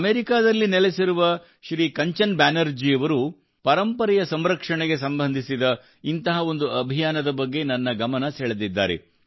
ಅಮೆರಿಕಾದಲ್ಲಿ ನೆಲೆಸಿರುವ ಶ್ರೀ ಕಂಚನ್ ಬ್ಯಾನರ್ಜಿಯವರು ಪರಂಪರೆಯ ಸಂರಕ್ಷಣೆಗೆ ಸಂಬಂಧಿಸಿದ ಇಂತಹ ಒಂದು ಅಭಿಯಾನದ ಬಗ್ಗೆ ನನ್ನ ಗಮನ ಸೆಳೆದಿದ್ದಾರೆ